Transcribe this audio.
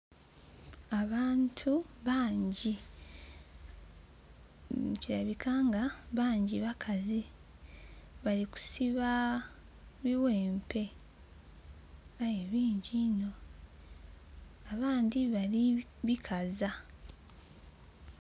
Abantu bangi kiboneka bangi bakazi nga bali kusiba ibiwempe. Aye bingi inho, abandhi balibikaza.